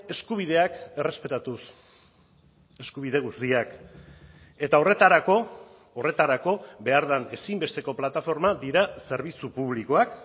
eskubideak errespetatuz eskubide guztiak eta horretarako horretarako behar den ezinbesteko plataformak dira zerbitzu publikoak